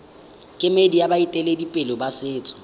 kemedi ya baeteledipele ba setso